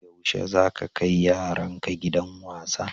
Yaushe za ka kai yaranka gidan wasa?